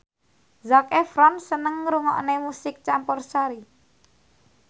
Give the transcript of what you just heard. Zac Efron seneng ngrungokne musik campursari